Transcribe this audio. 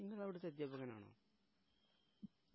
നിങ്ങളവിടെ set up അങ്ങാനാണോ